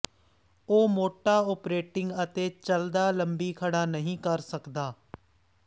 ਉਹ ਮੋਟਾ ਓਪਰੇਟਿੰਗ ਅਤੇ ਚੱਲਦਾ ਲੰਬੀ ਖੜਾ ਨਹੀ ਕਰ ਸਕਦਾ ਹੈ